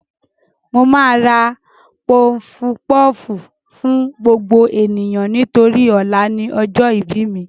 Mo máa ra pọfupọ́ọ̀fù fún gbogbo ènìyàn nítorí ọ̀la ni ọjọ́ ìbí mi